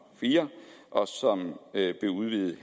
fire og som blev udvidet